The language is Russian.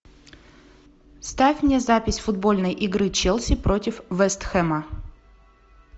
ставь мне запись футбольной игры челси против вест хэма